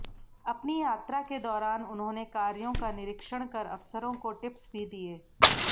अपनी यात्रा के दौरान उन्होंने कार्यों का निरीक्षण कर अफसरों को टिप्स भी दिए